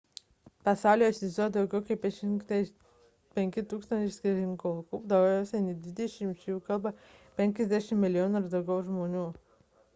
pasaulyje egzistuoja daugiau nei 5 000 skirtingų kalbų daugiau nei dvidešimčia iš jų kalba 50 milijonų ar daugiau žmonių